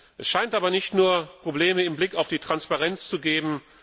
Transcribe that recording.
Es scheint aber nicht nur Probleme mit Blick auf die Transparenz zu geben.